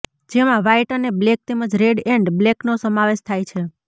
જેમાં વ્હાઈટ અને બ્લેક તેમજ રેડ એન્ડ બ્લેકનો સમાવેશ થાય છે